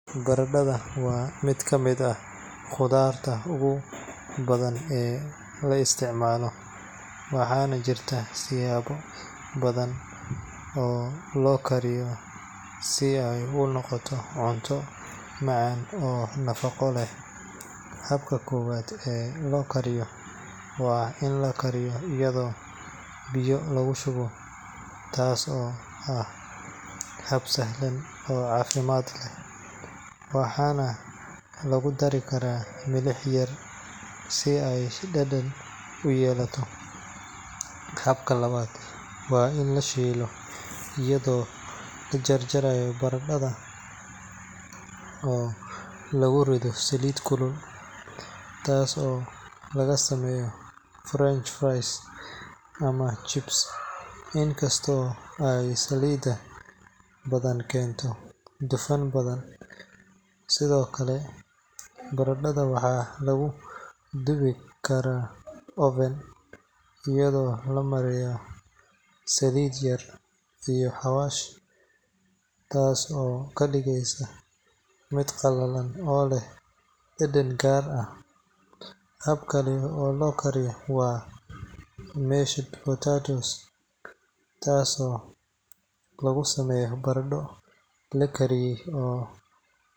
Baradhada waa mid ka mid ah khudaarta ugu badan ee la isticmaalo, waxaana jirta siyaabo badan oo loo kariyo si ay u noqoto cunto macaan oo nafaqo leh. Habka koowaad ee loo kariyo waa in la kariyo iyadoo biyo lagu shubo, taas oo ah hab sahlan oo caafimaad leh, waxaana lagu dari karaa milix yar si ay dhadhan u yeelato. Habka labaad waa in la shiilo iyadoo la jarjaro baradhada oo lagu riddo saliid kulul, taas oo laga sameeyo French fries ama chips, inkastoo ay saliid badani keento dufan badan. Sidoo kale, baradhada waxaa lagu dubi karaa oven, iyadoo la mariyo saliid yar iyo xawaash, taas oo ka dhigta mid qallalan oo leh dhadhan gaar ah. Hab kale oo loo kariyo waa mashed potatoes, taasoo lagu sameeyo baradho la kariyay oo.